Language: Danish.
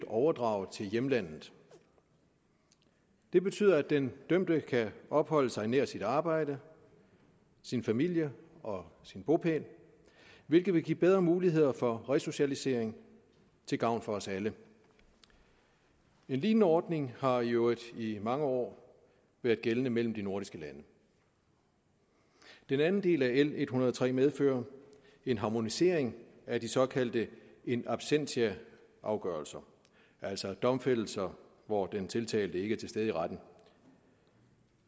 overdraget til hjemlandet det betyder at den dømte kan opholde sig nær sit arbejde sin familie og sin bopæl hvilket vil give bedre muligheder for resocialisering til gavn for os alle en lignende ordning har jo i mange år været gældende mellem de nordiske lande den anden del af l en hundrede og tre medfører en harmonisering af de såkaldte in absentia afgørelser altså domfældelser hvor den tiltalte ikke er til stede i retten